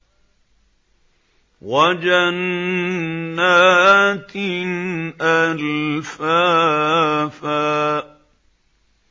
وَجَنَّاتٍ أَلْفَافًا